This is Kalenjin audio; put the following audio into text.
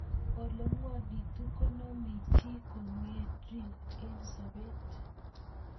Ole ng'wanekitu konamei chii kong'ering'it eng' sobet